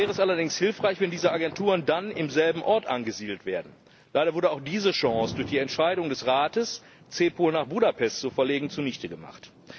Dafür wäre es allerdings hilfreich, wenn diese Agenturen dann am selben Ort angesiedelt werden. Leider wurde auch diese Chance durch die Entscheidung des Rates, CEPOL nach Budapest zu verlegen, zunichte gemacht.